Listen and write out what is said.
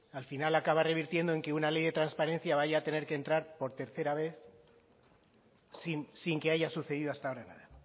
al final acaba revirtiendo en que una ley de transparencia vaya a tener que entrar por tercera vez sin que haya sucedido hasta ahora nada